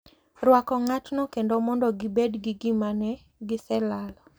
Rwako ng’atno kendo mondo gibed gi gima ne giselalo,